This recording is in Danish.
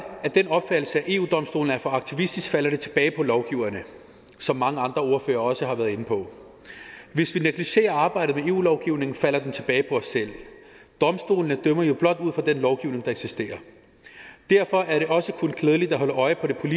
af den opfattelse at eu domstolen er for aktivistisk falder det tilbage på lovgiverne som mange andre ordførere også har været inde på hvis vi negligerer arbejdet med eu lovgivningen falder det tilbage på os selv domstolene dømmer jo blot ud fra den lovgivning der eksisterer derfor er det også kun klædeligt at holde øjnene